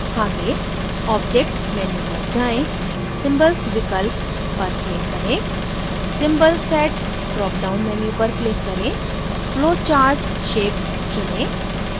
go